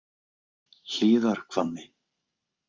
Hlíðarhvammi